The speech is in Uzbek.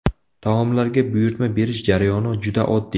Taomlarga buyurtma berish jarayoni juda oddiy.